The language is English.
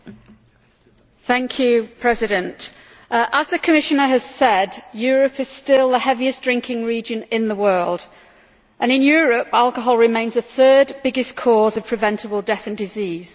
Mr President, as the Commissioner has said, Europe is still the heaviest-drinking region in the world, and in Europe alcohol remains the third biggest cause of preventable death and disease.